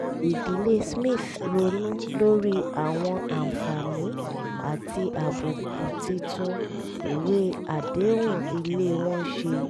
ìdílé smith ronú lórí àwọn àǹfààní àti àbùkù títún ìwé àdéhùn ilé wọn ṣe